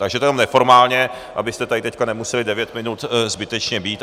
Takže to jenom neformálně, abyste tady teď nemuseli devět minut zbytečně být.